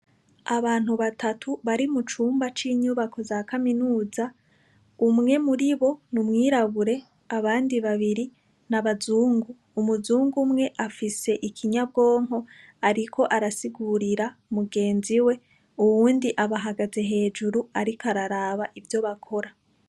Abantu batatu bari mu cumba c'inyubako za kaminuza umwe muribo n'umwirabure abandi babiri n'abazungu, Umuzungu umwe afise ikinyabwonko riko arasigurira mugenzi we uwundi abahagaze hejuru ariko araraba ivyo bakora.